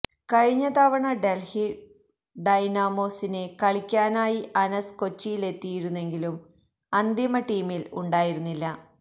കഴിഞ്ഞ തവണ ഡെൽഹി ഡൈനാമോസിന് കളിക്കാനായി അനസ് കൊച്ചിയിലെത്തിയിരുന്നെങ്കിലും അന്തിമ ടീമിൽ ഉണ്ടായിരുന്നില്ല